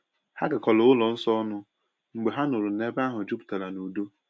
Ha garakọrọ ụlọ nsọ ọnụ mgbe ha nụrụ na ebe ahụ juputara n’udo.